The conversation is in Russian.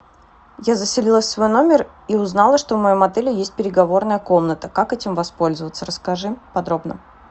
я заселилась в свой номер и узнала что в моем отеле есть переговорная комната как этим воспользоваться расскажи подробно